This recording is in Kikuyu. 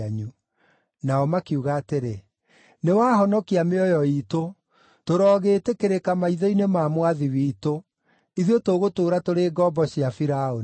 Nao makiuga atĩrĩ, “Nĩwahonokia mĩoyo iitũ. Tũroogĩtĩkĩrĩka maitho-inĩ ma mwathi witũ; ithuĩ tũgũtũũra tũrĩ ngombo cia Firaũni.”